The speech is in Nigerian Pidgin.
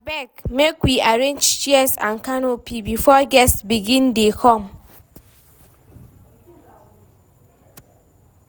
Abeg, make we arrange chairs and canopy before guests begin dey come.